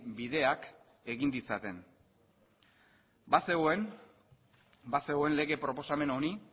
bideak egin ditzaten bazegoen lege proposamen honi